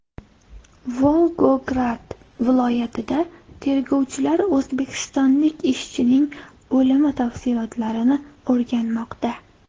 Volgograd viloyatida tergovchilar o‘zbekistonlik ishchining o‘limi tafsilotlarini o‘rganmoqda.